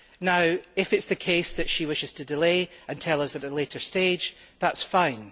Now if it is the case that she wishes to delay and tell us at a later stage, that is fine.